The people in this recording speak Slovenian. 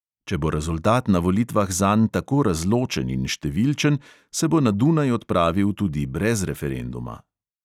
Če bo rezultat na volitvah zanj tako razločen in številčen, se bo na dunaj odpravil tudi brez referenduma.